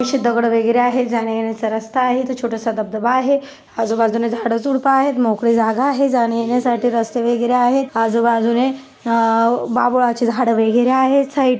अशी दगड वगैरे आहेत जाण्या येण्याचा रस्ता आहे इथ छोटस धबधबा आहे आजूबाजूनी झाड झुड्प आहेत मोकळी जागा आहे जाण्या येण्यासाठी रस्ते वगैरे आहेत आजुबाजुने आ बाबुळाचे झाडे वगैरे आहेत साईड --